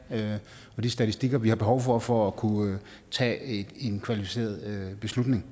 og de statistikker vi har behov for for at kunne tage en kvalificeret beslutning